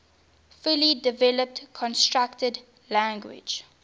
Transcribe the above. fully developed constructed language